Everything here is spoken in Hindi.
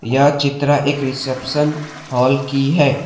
यह चित्र एक रिसेप्शन हॉल की है।